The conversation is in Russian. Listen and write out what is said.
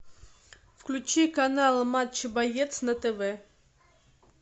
включи канал матч боец на тв